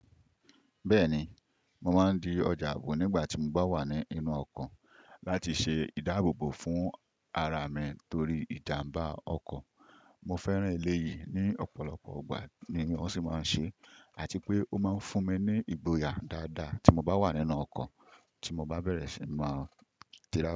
Bẹ́ẹ̀ni, mo máa ń di ọjà ààbò nígbà tí mo bá wà ní inú ọkọ̀ láti ṣe ìdáàbòbo fún ara mi torí ìjàmbá ọkọ̀. Mo fẹ́ràn eléyìí ní ọ̀pọ̀lọpọ̀ ìgbà ni wọ́n sì máa ń ṣe, àti pé ó máa ń fún mi ní ìgboyà dáadáa tí mo bá wà nínú ọkọ̀ tí mo bá bẹ̀rẹ̀ sí n máa tíra.